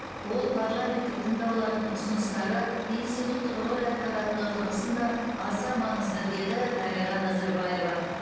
ол парламенттік тыңдаулардың ұсыныстары институттық рөл атқаратыны тұрғысында аса маңызды деді дариға назарбаева